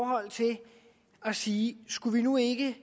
at sige skulle vi nu ikke